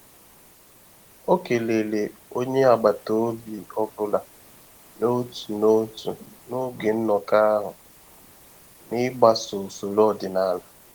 Ọ kelere onye agbata obi ọ bụla n'otu n'otu n'oge nnọkọ ahụ, n'igbaso usoro ọdịnala.